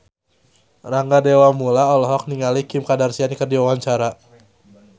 Rangga Dewamoela olohok ningali Kim Kardashian keur diwawancara